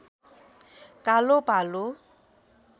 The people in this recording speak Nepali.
कालो भालु